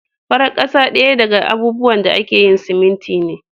Farar kasa daya daga abubuwan da ake yin siminti ne.